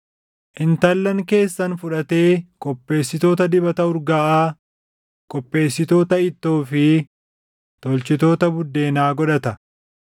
Intallan keessan fudhatee qopheessitoota dibata urgaaʼaa, qopheessitoota ittoo fi tolchitoota buddeenaa godhata.